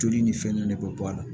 Joli ni fɛn nunnu ne bɛ bɔ a la